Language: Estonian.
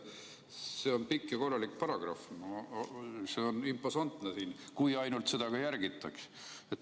See on siin pikk ja korralik paragrahv, see on imposantne, kui ainult seda ka järgitaks.